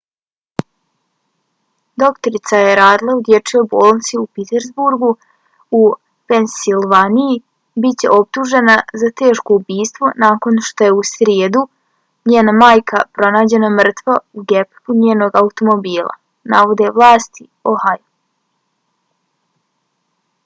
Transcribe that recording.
doktorica koja je radila u dječijoj bolnici u pittsburghu u pensilvaniji bit će optužena za teško ubistvo nakon što je u srijedu njena majka pronađena mrtva u gepeku njenog automobila navode vlasti u ohaju